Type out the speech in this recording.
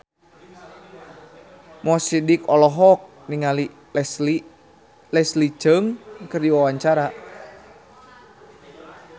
Mo Sidik olohok ningali Leslie Cheung keur diwawancara